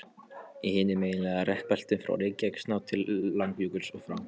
Í hinum eiginlegu rekbeltum, frá Reykjanestá til Langjökuls, og frá